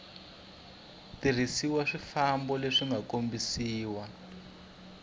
tirhiseriwa swifambo leswi nga kombisiwa